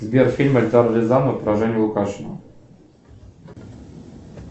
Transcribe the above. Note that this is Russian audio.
сбер фильм эльдара рязанова про женю лукашина